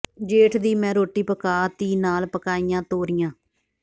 ਜੇਠ ਦੀ ਮੈਂ ਰੋਟੀ ਪਕਾ ਤੀ ਨਾਲ ਪਕਾਈਆ ਤੋਰੀਆਂ